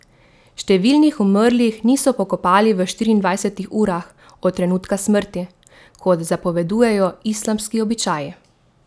Številnih umrlih niso pokopali v štiriindvajsetih urah od trenutka smrti, kot zapovedujejo islamski običaji.